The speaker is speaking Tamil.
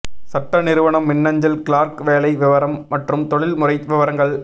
சட்ட நிறுவனம் மின்னஞ்சல் கிளார்க் வேலை விவரம் மற்றும் தொழில்முறை விவரங்கள்